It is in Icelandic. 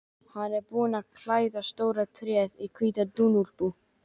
Hann er búinn að klæða stóra tréð í hvíta dúnúlpu.